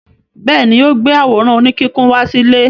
Bẹ́ẹ̀ ni, ó gbé àwòrán oníkíkùn wá sílé.